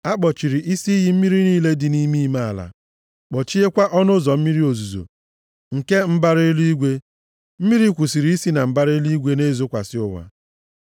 A kpọchiri isi iyi mmiri niile dị nʼime ime ala, kpọchiekwa ọnụ ụzọ mmiri ozuzo nke mbara eluigwe. Mmiri kwụsịrị isi na mbara eluigwe na-ezokwasị ụwa.